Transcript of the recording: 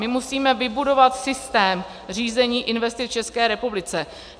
My musíme vybudovat systém řízení investic v České republice.